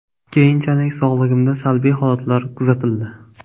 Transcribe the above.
Keyinchalik sog‘ligimda salbiy holatlar kuzatildi.